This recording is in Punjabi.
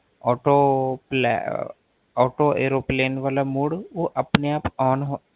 Auto ਏਰੋ Auto Airoplane ਵਾਲਾ Mode ਓਹ ਆਪਣੇ ਆਪ On ਹੋ